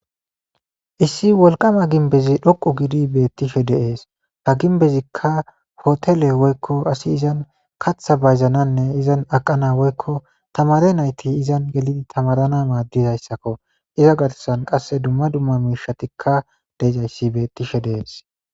Issi wolqama ginbezi dhoqu gidi beettishe deees ha ginbezikka hotele woykko asi izan katha bayzananne izan aqana woykko tamare nayti izan gelidi tamarana maaddizayssakko iza garsan qasse dumma dumma miishatikka deezayssi beettishe deees.